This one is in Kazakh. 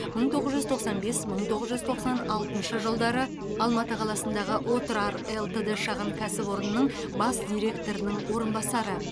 мың тоғыз жүз тоқсан бес мың тоғыз жүз тоқсан алтыншы жылдары алматы қаласындағы отрар лтд шағын кәсіпорнының бас директорының орынбасары